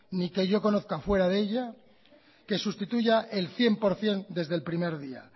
ni que yo conozca fuera de ella que sustituya el cien por cien desde el primer día